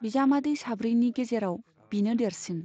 बिजामादै साब्रैनि गेजेराव बिनो देरसिन।